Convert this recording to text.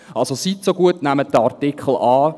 Also: Seien Sie so gut, nehmen Sie diesen Artikel an.